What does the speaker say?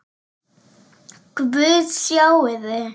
Guð, sjáiði!